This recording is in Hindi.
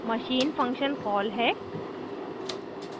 machine function कॉल है